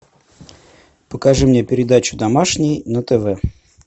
покажи мне передачу домашний на тв